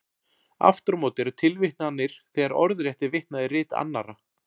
Aftur á móti eru tilvitnanir þegar orðrétt er vitnað í rit annarra.